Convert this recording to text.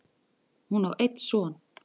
Hún á einn son.